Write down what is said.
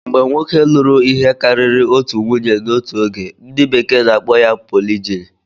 Mgbe nwoke lụrụ ihe karịrị otu nwunye n'otu oge, ndi bekee n'akpo ya polijini